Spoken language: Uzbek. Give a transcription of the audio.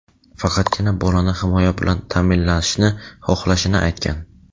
faqatgina bolani himoya bilan ta’minlashni xohlashini aytgan.